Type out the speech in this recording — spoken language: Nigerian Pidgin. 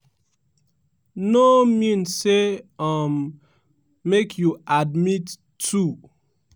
no mean say um make you admit two.